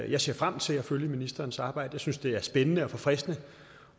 jeg ser frem til at følge ministerens arbejde jeg synes det er spændende og forfriskende